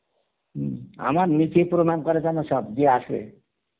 হম আমার নিচেই প্রনাম করা জেনা সবচে